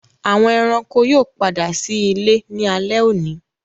Àwọn ẹranko yóò pàdà sí ìlé ní alé òní.